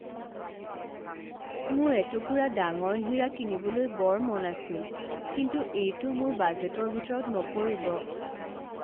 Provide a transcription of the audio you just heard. মোৰ এটুকুৰা ডাঙৰ হীৰা কিনিবলৈ বৰ মন আছিল কিন্তু এইটো মোৰ বাজেটৰ ভিতৰত নপৰিব।